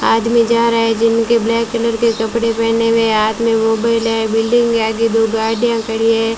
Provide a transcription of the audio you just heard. आदमी जा रहा है जिनके ब्लैक कलर के कपड़े पहने हुए हाथ में मोबाइल है बिल्डिंग के आगे दो गाड़ियां खड़ी हैं।